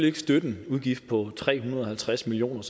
ikke støtte en udgift på tre hundrede og halvtreds million